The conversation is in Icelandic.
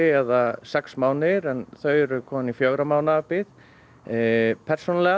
eða sex mánuðir en þau eru komin í fjögurra mánaða bið persónulega